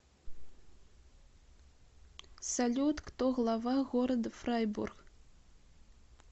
салют кто глава города фрайбург